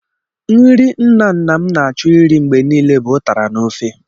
Nri nna nna m na-achọ irí mgbe niile bụ ụtara n'ofe.